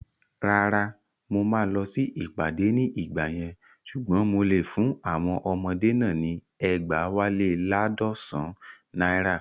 Rárá, mo máa lọ sí ìpàdé ní ìgbà yẹn ṣùgbọ́n mo lè fún àwọn ọmọdé náà ní ẹgbẹ̀wálé laadọsan naira